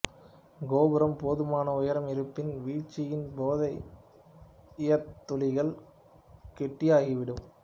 கோபுரம் போதுமான உயரம் இருப்பின் வீழ்ச்சியின் போதே ஈயத் துளிகள் கெட்டியாகிவிடும்